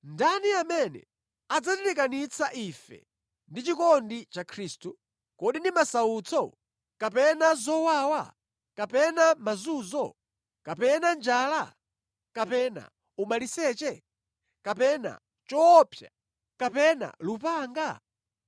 Ndani amene adzatilekanitsa ife ndi chikondi cha Khristu? Kodi ndi masautso, kapena zowawa, kapena mazunzo, kapena njala, kapena umaliseche, kapena choopsa, kapena lupanga?